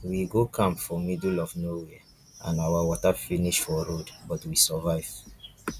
we go camp for middle of nowhere and our water finish for road but we survive